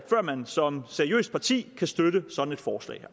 man som seriøst parti kan støtte sådan et forslag